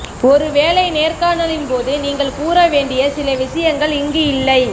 ஒரு வேலை நேர்காணலின் போது நீங்கள் கூறவேண்டிய சில விஷயங்கள் இங்கு இல்லை